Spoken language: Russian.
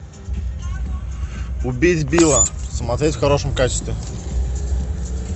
убить билла смотреть в хорошем качестве